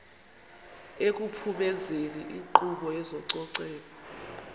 ekuphumezeni inkqubo yezococeko